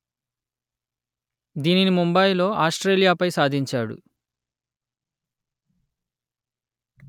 దీనిని ముంబాయి లో ఆస్ట్రేలియా పై సాధించాడు